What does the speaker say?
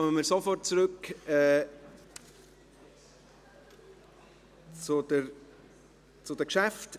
Wir kommen nun sofort zurück zu den Geschäften.